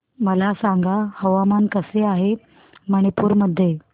मला सांगा हवामान कसे आहे मणिपूर मध्ये